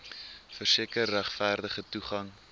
verseker regverdige toegang